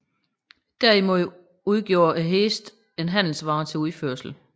Derimod udgjorde hestene en handelsvare til udførsel